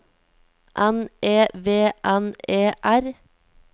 N E V N E R